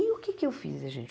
E o que é que eu fiz, gente?